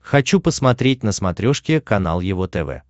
хочу посмотреть на смотрешке канал его тв